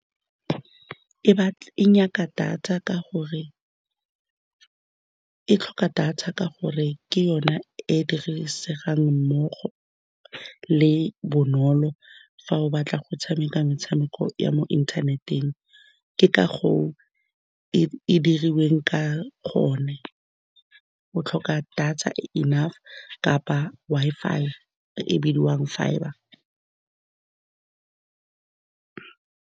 E e nyaka data, ka gore e tlhoka data ka gore ke yona e e dirisegang mmogo le bonolo fa o batla go tshameka metshameko ya mo inthaneteng. Ke ka go e dirilweng ka gonne o tlhoka data e e enough kapa e e bidiwang fibre.